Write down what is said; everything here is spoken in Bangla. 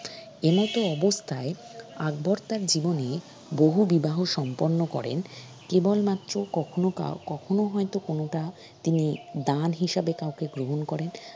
এমত অবস্তায় আকবর তার জীবনে বহু বিবাহ সম্পন্ন করেন কেবল মাত্র কখনও কাউ কখনও হয়ত কোনোটা তিনি দান হিসেবে কাউকে গ্রহন করেন